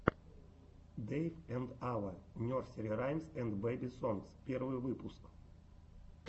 дэйв энд ава нерсери раймс энд бэби сонгс первый выпуск